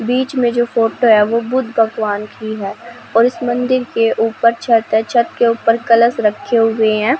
बीच में जो फोटो है वो बुद्ध भगवान की है और इस मंदिर के ऊपर छत है छत के ऊपर कलश रखे हुए है।